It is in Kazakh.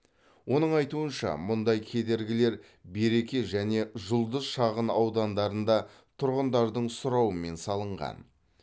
оның айтуынша мұндай кедергілер береке және жұлдыз шағынаудандарында тұрғындардың сұрауымен салынған